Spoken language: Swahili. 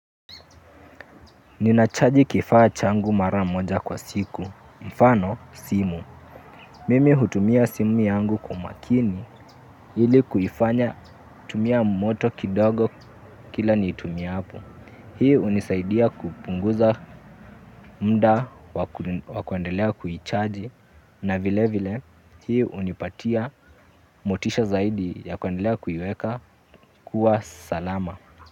Ninachaji kifaa changu mara moja kwa siku. Mfano simu. Mimi hutumia simu yangu kwa umakini ili kuifanya kutumia moto kidogo kila niitumiapo. Hii hunisaidia kupunguza muda wa kuendelea kuichaji na vile vile hii hunipatia motisha zaidi ya kuendelea kuiweka kuwa salama.